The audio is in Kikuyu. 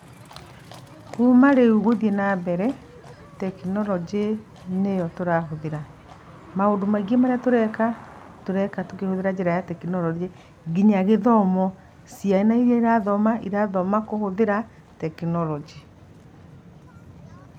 Kuma rĩu gũthiĩ nambere, tekinoronjĩ nĩyo tũrahũthĩra, maũndũ maingĩ marĩa tũreka, tũreka tũkĩhũthĩra njĩra ya tekinoronjĩ. Nginya gĩthomo, ciana iria irathoma, irathoma kũhũthĩra tekinoronjĩ.